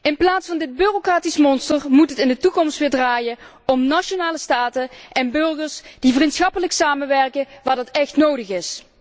In plaats van dit bureaucratische monster moet het in de toekomst weer draaien om nationale staten en burgers die vriendschappelijk samenwerken waar dat echt nodig is.